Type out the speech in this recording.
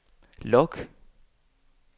log